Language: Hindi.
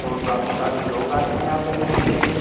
और काफी सारे लोग आते हैं यहाँ पे जिम करने।